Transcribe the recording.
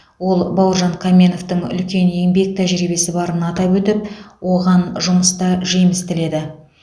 ол бауыржан қаменовтің үлкен еңбек тәжірибесі барын атап өтіп оған жұмыста жеміс тіледі